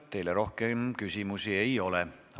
Teile rohkem küsimusi ei ole.